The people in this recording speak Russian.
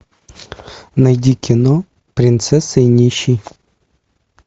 найди кино принцесса и нищий